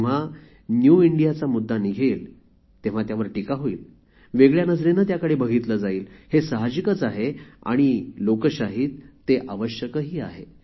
जेव्हा न्यू इंडियाचा मुद्दा निघेल तेव्हा त्यावर टीका होईल वेगळ्या नजरेने त्याकडे बघितले जाईल हे साहजिकच आहे आणि लोकशाहीत ते आवश्यकही आहे